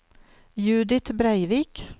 Judith Breivik